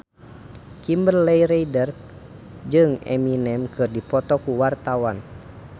Kimberly Ryder jeung Eminem keur dipoto ku wartawan